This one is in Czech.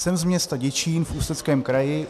Jsem z města Děčín v Ústeckém kraji.